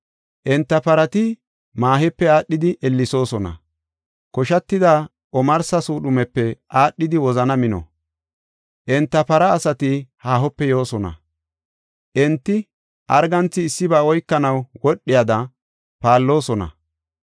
Enta parati maahepe aadhidi ellesoosona; koshatida omarsa suudhumepe aadhidi wozana mino. Enta para asati haahope yoosona; enti arganthi issiba oykanaw wodhiyada paalloosona.